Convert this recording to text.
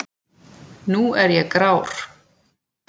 Nú er ég grár.